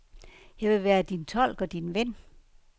Jeg vil være din tolk og din ven.